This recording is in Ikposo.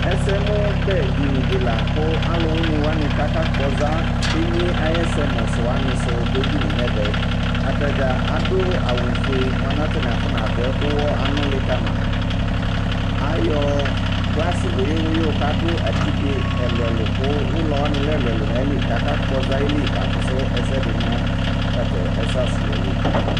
ɛsɛmu bɛ dini di la ku alu wini kaka kpɔza emie ayɛsɛmu du wʋani du du edinie nu ɛvɛ ata dza adu awu fue mʋa lɛ kata ni afɔ na du kuwɔ anuli kama , ayɔ glasi wuiyu wuiyu ku ku adu atike ɛlu ɛlu ku ulɔ wʋani lɛ ɛlu ɛlu nu ayili ku ɔka kpɔza ayili ka fusu ɛsɛdi tatɛ ɛsɛ asuyɛ li